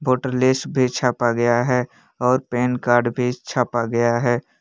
Voter list भी छापा गया है और पैन कार्ड भी छापा गया है।